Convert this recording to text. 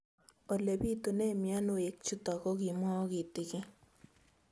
Ole pitune mionwek chutok ko kimwau kitig'�n